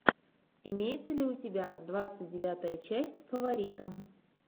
имеется ли у тебя двадцать девятая часть фаворита